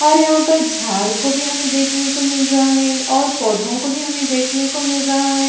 और यहाँ पर झाड़ को भी हमें देखने को मिल रहा है और पौधों को भी हमें देखने को मिल रहा है।